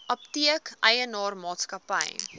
apteek eienaar maatskappy